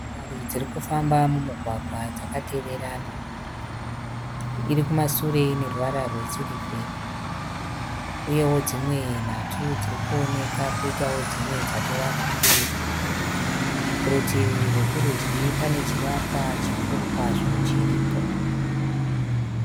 Motikari dziri kufamba mumugwagwa dzakateverana. Irikumasure ineruvara rwe sirivheri. Uyewo dzimwe nhatu dzirikuoneka, kwoitawo dzimwe dzatove kumberi. Kurutivi rwekurudyi pane chivakwa chikuru kwazvo chiriko.